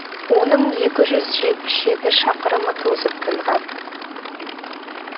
оның екі жүз жетпіс жеті шақырымы тозып тынған